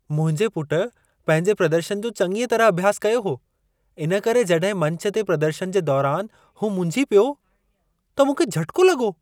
मुंहिंजे पुटु पंहिंजे प्रदर्शनु जो चङीअ तरह अभ्यास कयो हो। इन करे जॾहिं मंचु ते प्रदर्शनु जे दौरान हू मुंझी पियो, त मूंखे झटिको लॻो।